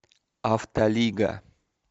автолига